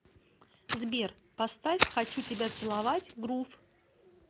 сбер поставь хочу тебя целовать грув